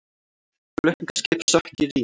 Flutningaskip sökk í Rín